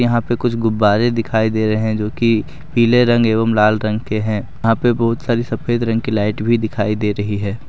यहां पे कुछ गुब्बारे दिखाई दे रहे हैं जो कि पीले रंग एवं लाल रंग के हैं यहां पे बहुत सारी सफेद रंग की लाइट भी दिखाई दे रही है।